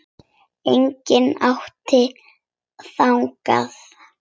Enginn átti þangað erindi.